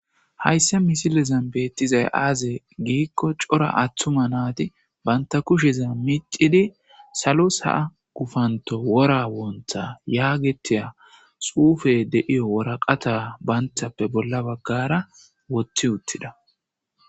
Hayssa misilezan beettizay aaze giikko cora aththuma naati banta kusheza micidi salos haa gufanto wora woontha yaagetiya suufe deiyo woraqata banthappe bolla baggara woti uttida.